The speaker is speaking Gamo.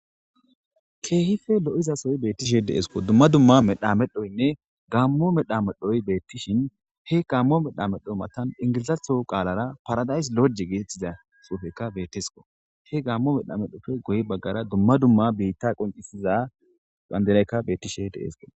Kehife lo7izasoy beettishe deseko dumma dumma medha medhoynne gammo medha medhoy beettishin he gaammo medha medho matan ingilizatho qaalara paradays loje geetettiza xuufekka betesko he gaammo medha medhofe guye baggara dumma dumma biitta qoncisiza bandiraykka beettishe deseko.